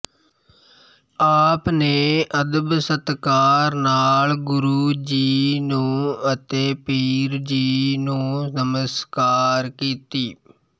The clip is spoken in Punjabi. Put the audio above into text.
ਆਪਨੇ ਅਦਬ ਸਤਿਕਾਰ ਨਾਲ ਗੁਰੁ ਜੀ ਨੂੰ ਅਤੇ ਪੀਰ ਜੀ ਨੂੰ ਨਾਮਸਕਾਰ ਕੀਤੀ